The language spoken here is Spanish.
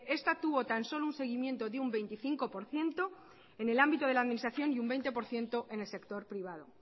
esta tuvo tan solo un seguimiento de un veinticinco por ciento en el ámbito de la administración y un veinte por ciento en el sector privado